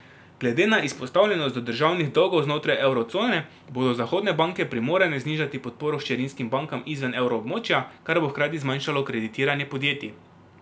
Glede na izpostavljenost do državnih dolgov znotraj evro cone, bodo zahodne banke primorane znižati podporo hčerinskim bankam izven evro območja, kar bo hkrati zmanjšalo kreditiranje podjetij.